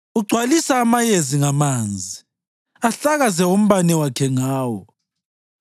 Ugcwalisa amayezi ngamanzi; ahlakaze umbane wakhe ngawo.